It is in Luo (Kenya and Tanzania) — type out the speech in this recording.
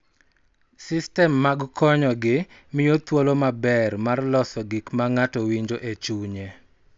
Sistem mag konyo gi miyo thuolo maber mar loso gik ma ng�ato winjo e chunye,